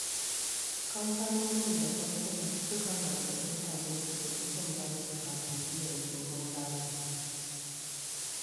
Kamfanonin da bankuna sukan gargaɗi mutane su guji cin bashi kafin biyan tsohon bashin.